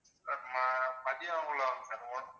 sir ம~ மதியம் குள்ள வாங்க sir